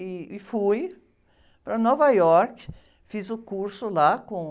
E, e fui para Nova York, fiz o curso lá com...